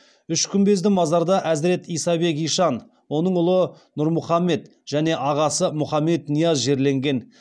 үш күмбезді мазарда әзірет исабек ишан оның ұлы нұрмұхамед және ағасы мұхаммед нияз жерленген